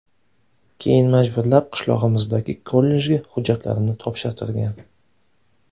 Keyin majburlab qishlog‘imizdagi kollejga hujjatlarimni topshirtirgan.